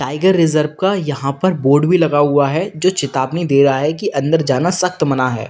Tiger reserve का यहां पर बोर्ड लगा हुआ है जो चेतावनी दे रहा है कि अंदर जाना सख्त मना है।